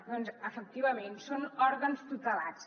doncs efectivament són òrgans tutelats